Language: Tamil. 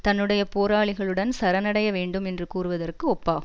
தன்னுடைய போராளிகளுடன் சரணடைய வேண்டும் என்று கூறுவதற்கு ஒப்பாகும்